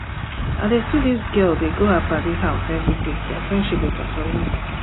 i dey see dis girl dey go her paddy house everyday their friendship dey totori me